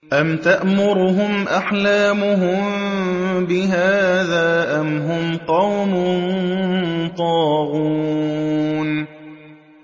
أَمْ تَأْمُرُهُمْ أَحْلَامُهُم بِهَٰذَا ۚ أَمْ هُمْ قَوْمٌ طَاغُونَ